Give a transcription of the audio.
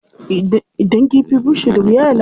Idan kifi bushe da wuya ya lalace.